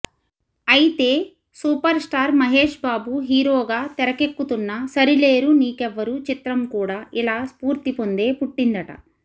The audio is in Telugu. అయితే సూపర్ స్టార్ మహేష్ బాబు హీరోగా తెరకెక్కుతున్న సరిలేరు నీకెవ్వరు చిత్రం కూడా ఇలా స్ఫూర్తి పొందే పుట్టిందిట